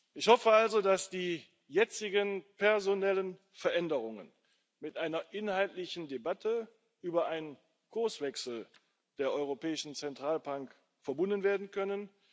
Ich hoffe also, dass die jetzigen personellen Veränderungen mit einer inhaltlichen Debatte über einen Kurswechsel der Europäischen Zentralbank verbunden werden können.